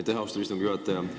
Aitäh, austatud istungi juhataja!